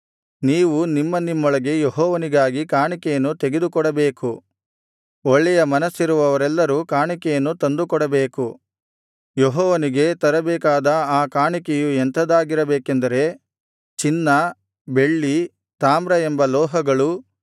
ನೀವು ನಿಮ್ಮ ನಿಮ್ಮೊಳಗೆ ಯೆಹೋವನಿಗಾಗಿ ಕಾಣಿಕೆಯನ್ನು ತೆಗೆದುಕೊಡಬೇಕು ಒಳ್ಳೆಯ ಮನಸ್ಸಿರುವವರೆಲ್ಲರೂ ಕಾಣಿಕೆಯನ್ನು ತಂದುಕೊಡಬೇಕು ಯೆಹೋವನಿಗೆ ತರಬೇಕಾದ ಆ ಕಾಣಿಕೆಯು ಎಂಥದಾಗಿರಬೇಕೆಂದರೆ ಚಿನ್ನ ಬೆಳ್ಳಿ ತಾಮ್ರ ಎಂಬ ಲೋಹಗಳು